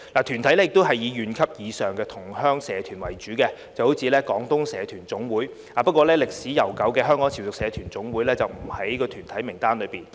團體以縣級或以上的同鄉社團為主，例如香港廣東社團總會，但歷史悠久的香港潮屬社團總會，則不在團體名單上。